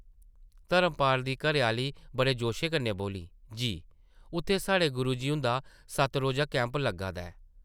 धर्मपाल दी घरै-आह्ली बड़े जोशे कन्नै बोल्ली , जी, उत्थै साढ़े गुरु जी हुंदा सत्त-रोजा कैंप लग्गा दा ऐ ।